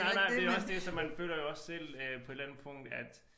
Nej nej men det er også det så man føler jo også selv øh på et eller andet punkt at